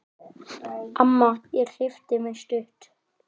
Amma ég klippi mig stutt.